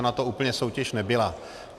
Ona to úplně soutěž nebyla.